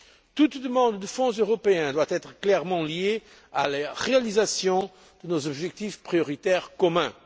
Toute demande de fonds européens doit être clairement liée à la réalisation de nos objectifs prioritaires communs.